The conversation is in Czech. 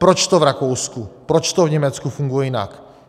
Proč to v Rakousku, proč to v Německu funguje jinak?